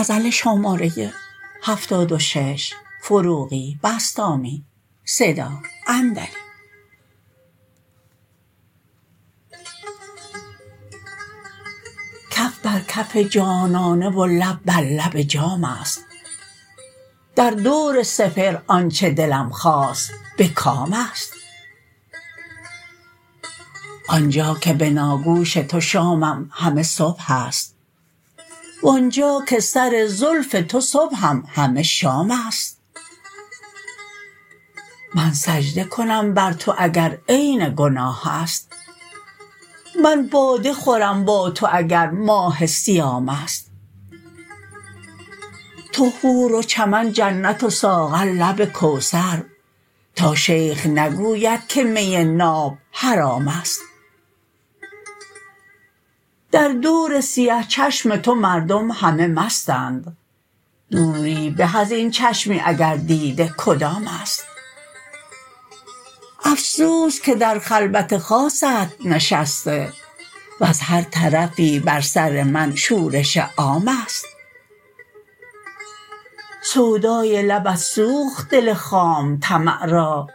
کف بر کف جانانه و لب بر لب جام است در دور سپهر آن چه دلم خواست به کام است آنجا که بناگوش تو شامم همه صبح است و آنجا که سر زلف تو صبحم همه شام است من سجده کنم بر تو اگر عین گناه است من باده خورم با تو اگر ماه صیام است تو حور و چمن جنت و ساغر لب کوثر تا شیخ نگوید که می ناب حرام است در دور سیه چشم تو مردم همه مستند دوری به ازین چشمی اگر دیده کدام است افسوس که در خلوت خاصت نشسته وز هر طرفی بر سر من شورش عام است سودای لبت سوخت دل خام طمع را